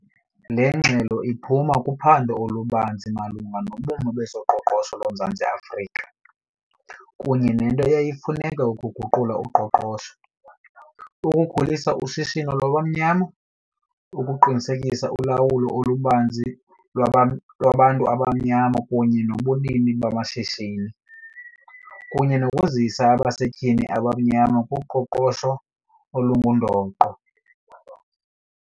Le ngxelo iphuma kuphando olubanzi malunga nobume bezoqoqosho loMzantsi Afrika, kunye nento eyayifuneka ukuguqula uqoqosho, ukukhulisa ushishino lwabamnyama, ukuqinisekisa ulawulo olubanzi lwaba lwabantu abamnyama kunye nobunini bamashishini, kunye nokuzisa abasetyhini abamnyama kuqoqosho olungundoqo.